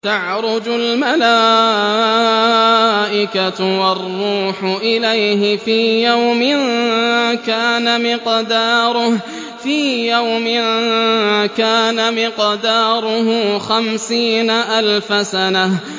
تَعْرُجُ الْمَلَائِكَةُ وَالرُّوحُ إِلَيْهِ فِي يَوْمٍ كَانَ مِقْدَارُهُ خَمْسِينَ أَلْفَ سَنَةٍ